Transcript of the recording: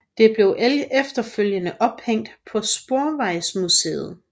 Det blev efterfølgende ophængt på Sporvejsmuseet